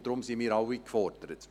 Und daher sind wir alle gefordert.